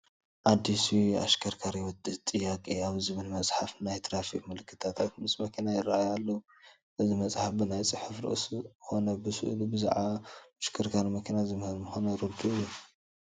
ኣዲሱ የኣሽከርካሪዎች ጥያቄ ኣብ ዝብል መፅሓፍ ናይ ትራፊክ ምልክታት ምስ መኪና ይርአዩ ኣለዉ፡፡ እዚ መስሓፍ ብናይ ፅሑፍ ርእሱ ኮነ ብስእሉ ብዛዕባ ምሽክርካር መኪና ዝምህር ምዃኑ ርዱእ እዩ፡፡